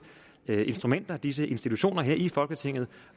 instrumenter disse institutioner i folketinget